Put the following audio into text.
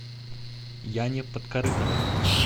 яне подкорытовой